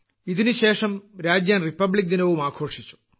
ഇതിനുശേഷം രാജ്യം റിപ്പബ്ലിക് ദിനവും ആഘോഷിച്ചു